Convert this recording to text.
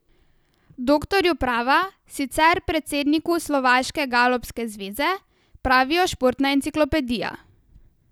Doktorju prava, sicer predsedniku slovaške galopske zveze, pravijo športna enciklopedija.